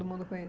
Todo mundo